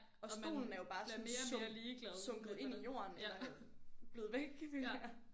Og stolen er jo bare sådan sunket sunket ind i jorden eller blevet væk føler jeg